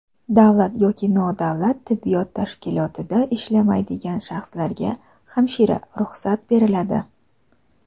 davlat yoki nodavlat tibbiyot tashkilotida ishlamaydigan shaxslarga (hamshira) ruxsat beriladi.